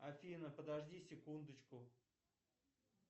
афина подожди секундочку